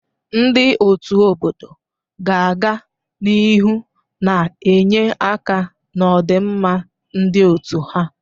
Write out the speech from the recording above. Ndị ọ́tù obodo ga-aga n'ihu na-enye aka n'ọdịmma ndị otu ha.